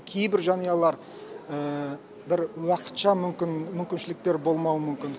кейбір жанұялар бір уақытша мүмкін мүмкіншіліктері болмауы мүмкін